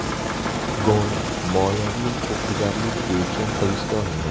Gon moliyaviy huquqbuzarlik bo‘yicha hibsga olingan.